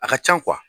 A ka can